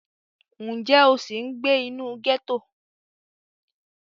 Ǹjẹ́ o sì ń gbé inú gẹ́tò?